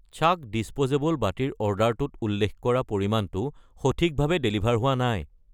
চাক্‌ disposable বাটি ৰ অৰ্ডাৰটোত উল্লেখ কৰা পৰিমাণটো সঠিকভাৱে ডেলিভাৰ হোৱা নাই।